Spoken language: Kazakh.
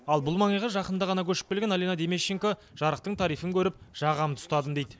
ал бұл маңайға жақында ғана көшіп келген алина демещенко жарықтың тарифін көріп жағамды ұстадым дейді